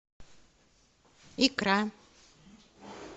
икра